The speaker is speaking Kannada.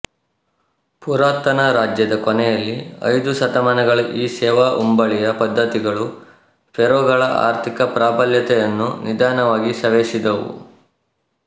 ಪುರಾತನ ರಾಜ್ಯದ ಕೊನೆಯಲ್ಲಿ ಐದು ಶತಮಾನಗಳ ಈ ಸೇವಾ ಉಂಬಳಿಯ ಪದ್ಧತಿಗಳು ಫೇರೋಗಳ ಆರ್ಥಿಕ ಪ್ರಾಬಲ್ಯತೆಯನ್ನು ನಿಧಾನವಾಗಿ ಸವೆಸಿದವು